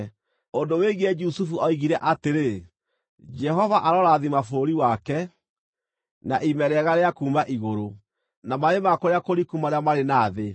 Ũndũ wĩgiĩ Jusufu oigire atĩrĩ: “Jehova arorathima bũrũri wake na ime rĩega rĩa kuuma igũrũ, na maaĩ ma kũrĩa kũriku marĩa marĩ na thĩ;